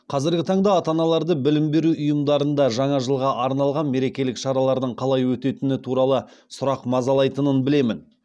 қазіргі таңда ата аналарды білім беру ұйымдарында жаңа жылға арналған мерекелік шаралардың қалай өтетітіні туралы сұрақ мазалайтынын білемін